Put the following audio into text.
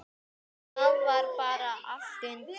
Það var bara allt undir.